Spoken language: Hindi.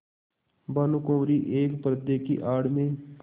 भानुकुँवरि एक पर्दे की आड़ में